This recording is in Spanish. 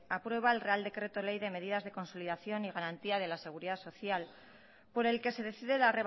aprueba el real decreto ley de medidas de consolidación y garantía de la seguridad social por el que se decide la